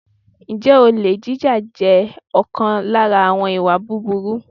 Ǹjẹ́ olè jíjà jẹ́ ọ̀kan lára àwọn ìwà búburú?